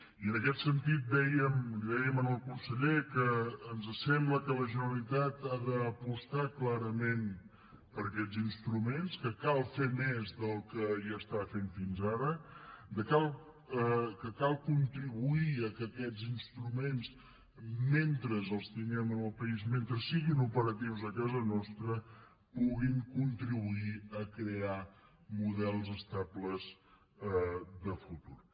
i en aquest sentit dèiem li dèiem al conseller que ens sembla que la generalitat ha d’apostar clarament per aquests instruments que cal fer més del que hi està fent fins ara que cal contribuir que aquests instruments mentre els tinguem en el país mentre siguin operatius a casa nostra puguin contribuir a crear models estables de futur